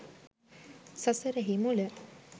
සසරෙහි මුල